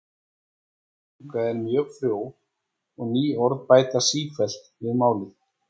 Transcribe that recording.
Íslensk tunga er mjög frjó og ný orð bætast sífellt við málið.